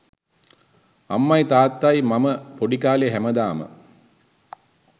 අම්මයි තාත්තයි මම පොඩි කාලේ හැමදාම